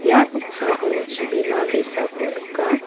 ia noksao chibima ge·sako nika.